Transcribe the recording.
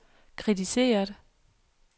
kritiseret